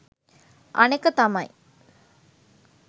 අනෙක තමයි